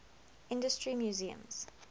industry museums